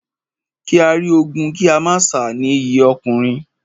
Kí á rí ogun kí a má sá ni iyì ọkùnrin.